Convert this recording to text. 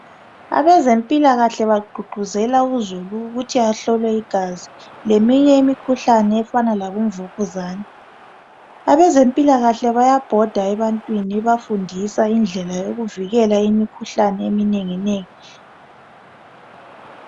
Abazempilakahle bagqugquzela uzulu ukuthi ahlolwe igazi, leminye imikhuhlane efana labomvukuzane. Abezempilakahle bayabhoda ebantwini bebafundisa indlela yokuvikela imikhuhlane eminenginengi.